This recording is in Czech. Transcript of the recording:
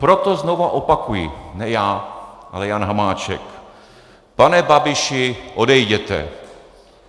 Proto znovu opakuji," ne já, ale Jan Hamáček, "pane Babiši, odejděte!